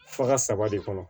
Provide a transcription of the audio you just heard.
Faga saba de kɔnɔ